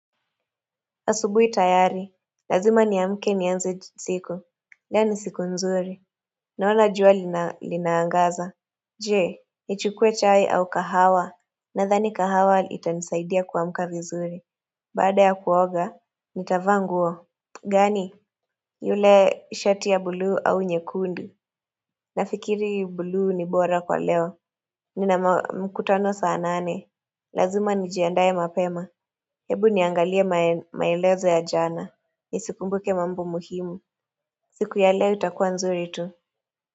Asubui tayari, lazima niamke nianze siku. Leo ni siku nzuri. Naona jua lina, linaangaza. Je, nichukue chai au kahawa. Nadhani kahawa itanisaidia kuamka vizuri. Baada ya kuoga, nitavaa nguo. Gani? Yule shati ya buluu au nyekundu. Nafikiri bulu ni bora kwa leo. Nina mkutano saa nane. Lazima nijiandaye mapema. Hebu niangalie mae, maelezo ya jana. Nisikumbuke mambo muhimu siku ya leo itakua nzuri tu.